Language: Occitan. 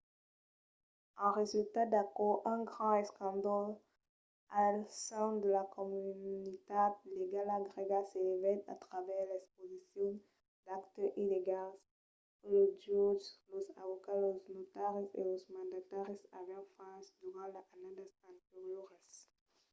en resulta d’aquò un grand escàndol al sen de la comunitat legala grèga s'elevèt a travèrs l'exposicion d’actes illegals que los jutges los avocats los notaris e los mandataris avián faches durant las annadas anterioras